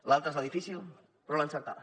l’altra és la difícil però l’encertada